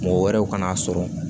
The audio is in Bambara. Mɔgɔ wɛrɛw kana sɔrɔ